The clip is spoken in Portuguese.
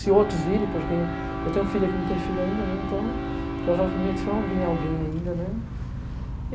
Se outros virem, porque eu tenho filha que não tem filho ainda, né, então provavelmente vão vir alguém ainda, né.